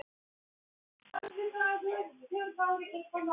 Honum var alveg hætt að lítast á blikuna.